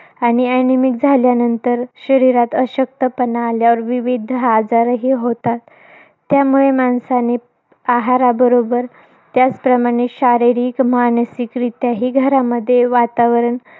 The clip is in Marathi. आणि anemic झाल्यानंतर, शरीरात अशक्तपणा आल्यानंतर, विविध आजारही होतात. त्यामुळे माणसाने, आहाराबरोबर. त्याचबरोबर शारीरिक, मानसिकरीत्याही घरामध्ये वातावरण